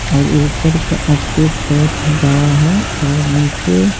और ऊपर का स्पेस बहुत ही बड़ा है और नीचे--